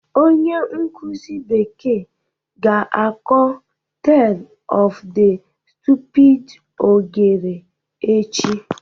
Onye nkuzi bekee ga-akọ Tale of the Stupid Ogre echi